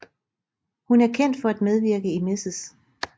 Hun er kendt for at medvirke i Mrs